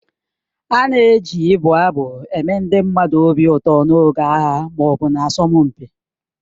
A na-eji ibụ abụ eme ndị mmadụ obi ụtọ n'oge agha ma ọ bụ asọmpi